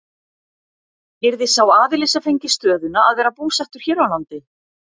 Yrði sá aðili sem fengi stöðuna að vera búsettur hér á landi?